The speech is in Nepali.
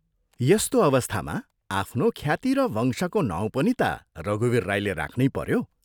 यस्तो अवस्थामा आफ्नो ख्याति र वंशको नाउँ पनि ता रघुवीर राईले राख्नै पऱ्यो।